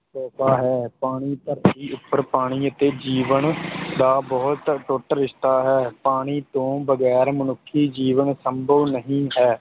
ਤੋਹਫ਼ਾ ਹੈ ਪਾਣੀ ਧਰਤੀ ਉੱਪਰ ਪਾਣੀ ਅਤੇ ਜੀਵਨ ਦਾ ਬਹੁਤ ਅਟੁੱਟ ਰਿਸ਼ਤਾ ਹੈ, ਪਾਣੀ ਤੋਂ ਬਗ਼ੈਰ ਮਨੁੱਖੀ ਜੀਵਨ ਸੰਭਵ ਨਹੀਂ ਹੈ।